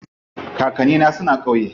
Kakanni na suna ƙauye.